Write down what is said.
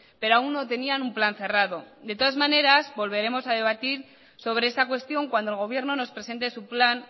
pero aún no tenían un plan cerrado de todas maneras volveremos a debatir sobre esta cuestión cuando el gobierno nos presente su plan